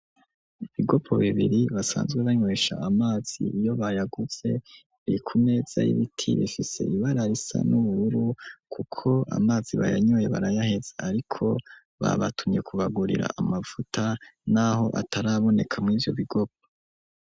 Ibigopo bibiri basanzwe banywesha amazi iyo bayaguze ,biri kumeza y'ibiti ,bifise ibara risa n'ubururu, kuko amazi bayanyoye barayaheze ,ariko babatumye kubagurira amavuta n'aho ataraboneka mw'ivyo bigopo.